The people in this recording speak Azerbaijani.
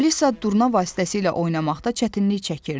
Alisa durna vasitəsilə oynamaqda çətinlik çəkirdi.